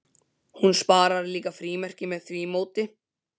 Hún sparar líka frímerkin með því móti.